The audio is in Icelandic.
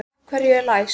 Af hverju er læst?